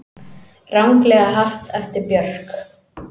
Ranglega haft eftir Björk